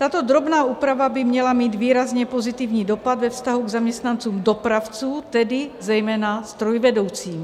Tato drobná úprava by měla mít výrazně pozitivní dopad ve vztahu k zaměstnancům dopravců, tedy zejména strojvedoucím.